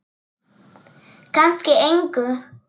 Kannski engu.